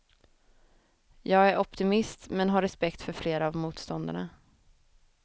Jag är optimist men har respekt för flera av motståndarna.